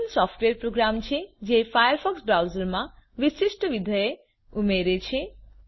plug in software program છે જે Firefox બ્રાઉઝરમાં વિશિષ્ટ વિધેય ઉમેરે છે